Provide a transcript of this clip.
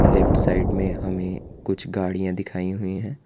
Left side में हमे कुछ गाड़िया दिखाई हुई है।